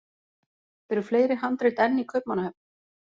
Eru fleiri handrit enn í Kaupmannahöfn?